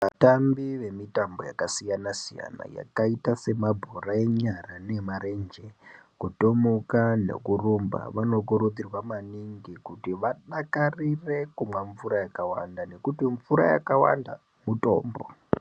Vatambi vemitambo yakasiyana siyana yakaita semabhora enyara neemarenje , kutomuka nekurumba vanokurudzirwa maningi kuti vadakarire kumwa mvura yakawanda nekuti mvura yakawanda mutombo .